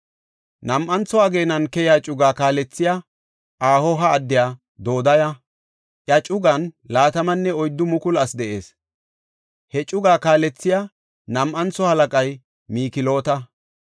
Nam7antho ageenan keyiya cugaa kaalethey Ahoha addiya Dodaya; iya cugan 24,000 asi de7ees. He cugaa kaalethiya nam7antho halaqay Mikloota.